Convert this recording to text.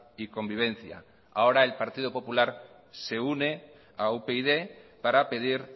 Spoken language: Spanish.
y convivencia ahora el partido popular se une a upyd para pedir